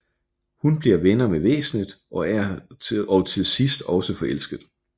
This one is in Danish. Hun bliver venner med væsenet og til sidst også forelsket